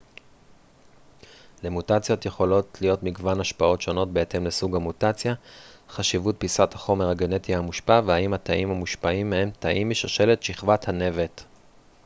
למוטציות יכולות להיות מגוון השפעות שונות בהתאם לסוג המוטציה חשיבות פיסת החומר הגנטי המושפע והאם התאים המושפעים הם תאים משושלת שכבת הנבט